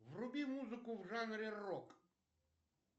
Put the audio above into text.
вруби музыку в жанре рок